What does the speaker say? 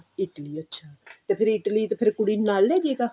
Italy ਅੱਛਾ ਤੇ ਫੇਰ Italy ਤੇ ਫੇਰ ਕੁੜੀ ਨੂੰ ਨਾਲ ਲੈਜੇਗਾ